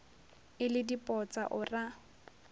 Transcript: e le dipotsa o ra